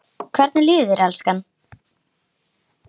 Hvernig líður þér, elskan?